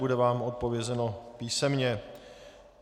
Bude vám odpovězeno písemně.